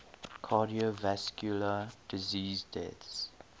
cardiovascular disease deaths